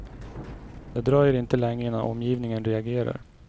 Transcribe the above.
Det dröjer inte länge innan omgivningen reagerar.